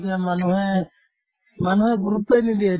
মানুহে মানুহে গুৰুত্ৱই নিদিয়ে